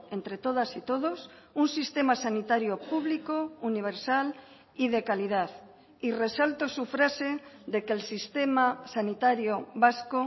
entre todas y todos un sistema sanitario público universal y de calidad y resalto su frase de que el sistema sanitario vasco